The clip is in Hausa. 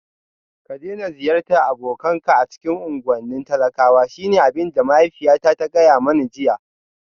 Ka daina ziyartar abokanka a cikin unguwannin talakwa shine abin da mahaifiyata ta gaya mani jiya